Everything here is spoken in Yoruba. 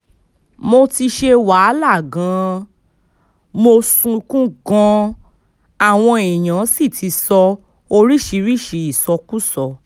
mo ti ṣe wàhálà gan-an mo sunkún gan-an àwọn èèyàn sì ti sọ oríṣìíríṣìí ìsọkúsọ